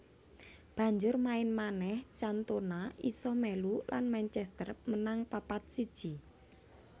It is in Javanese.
Banjur main manèh Cantona isa melu lan Manchester menang papat siji